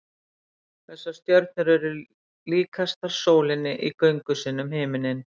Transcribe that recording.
Þessar stjörnur eru líkastar sólinni í göngu sinni um himininn.